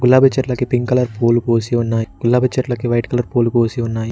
గులాబీ చెట్లకి pink colour పూలు పూసి ఉన్నాయి గులాబీ చెట్లకి వైట్ కలర్ పూలు పూసి ఉన్నాయి.